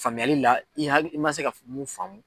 Faamuyali la i ya, i ma se ka mun faamu.